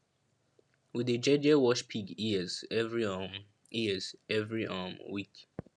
we dey jeje wash pig ears every um ears every um week